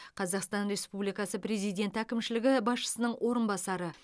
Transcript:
қазақстан республикасы президенті әкімшілігі басшысының орынбасары